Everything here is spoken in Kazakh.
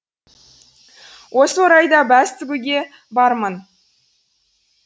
осы орайда бәс тігуге бармын